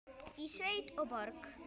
Í sveit og borg.